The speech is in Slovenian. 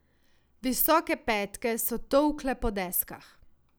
Visoke petke so tolkle po deskah.